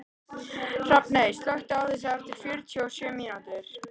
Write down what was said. Hrafney, slökktu á þessu eftir fjörutíu og sjö mínútur.